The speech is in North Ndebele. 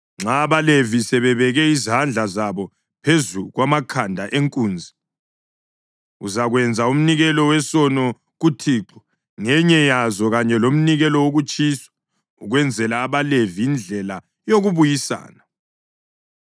Nxa abaLevi sebebeke izandla zabo phezu kwamakhanda enkunzi, uzakwenza umnikelo wesono kuThixo ngenye yazo kanye lomnikelo wokutshiswa, ukwenzela abaLevi indlela yokubuyisana.